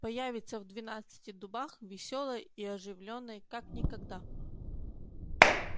появиться в двенадцати дубах весёлой и оживлённой как никогда